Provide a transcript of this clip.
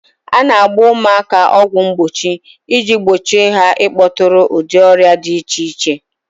A na-agba ụmụaka ọgwụ mgbochie iji gbochie ha ịkpọtụrụ ụdị ọrịa di iche iche.